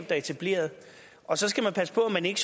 er etableret og så skal man passe på at man ikke